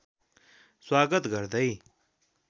स्वागत गर्दै